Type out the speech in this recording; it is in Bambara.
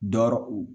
Dɔrɔ u